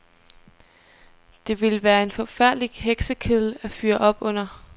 Det ville være en forfærdelig heksekedel at fyre op under.